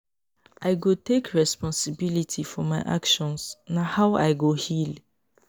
i go take responsibility for my actions; na how i go heal.